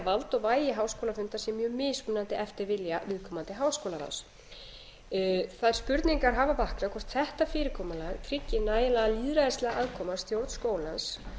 vald og vægi háskólafundar sé mjög mismunandi eftir vilja viðkomandi háskólaráðs þær spurningar hafa vaknað hvort þetta fyrirkomulag tryggi nægilega lýðræðislega aðkomu að stjórn skólans